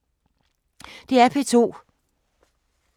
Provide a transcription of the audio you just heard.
DR P2